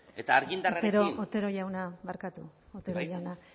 eta argindarrarekin otero jauna barkatu